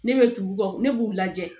Ne bɛ dugu kan ne b'u lajɛ